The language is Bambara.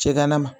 Cɛ kana ma